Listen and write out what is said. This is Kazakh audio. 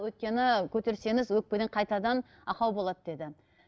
өйткені көтерсеңіз өкпеден қайтадан ақау болады деді